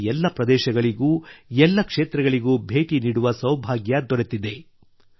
ನನಗೆ ಎಲ್ಲ ಪ್ರದೇಶಗಳಿಗೂ ಎಲ್ಲ ಕ್ಷೇತ್ರಗಳಿಗೂ ಭೇಟಿ ನೀಡುವ ಸೌಭಾಗ್ಯ ದೊರೆತಿದೆ